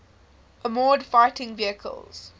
armored fighting vehicles